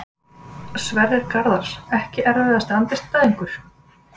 Sverrir Garðars Ekki erfiðasti andstæðingur?